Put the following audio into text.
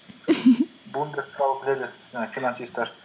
блумберг туралы біледі і финансисттер